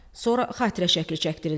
Sonra xatirə şəkli çəkdirildi.